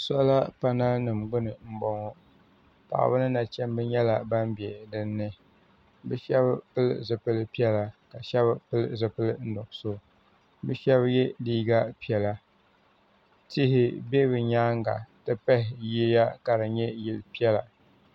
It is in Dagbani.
Sola panali nima gbini m boŋɔ paɣaba ni nachimba nyɛla ban be dinni bɛ sheba pili zipil'piɛla ka sheba pili zipil'nuɣuso bɛ sheba ye liiga piɛla tihi be bɛ nyaanga ti pahi yiya ka di nyɛ yili piɛla.